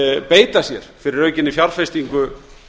beita sér fyrir aukinni fjárfestingu